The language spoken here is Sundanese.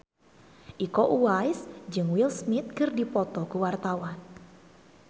Iko Uwais jeung Will Smith keur dipoto ku wartawan